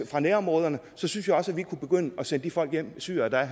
fra nærområderne så synes jeg også at vi kunne begynde at sende de folk de syrere der